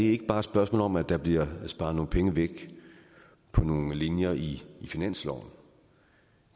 ikke bare et spørgsmål om at der bliver sparet nogle penge væk på nogle linjer i finansloven